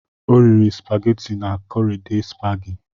Ọ rịri spageti na korede spagi